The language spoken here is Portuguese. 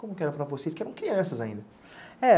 Como era para vocês que eram crianças ainda? É